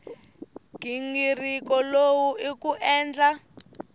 nghingiriko lowu i ku endla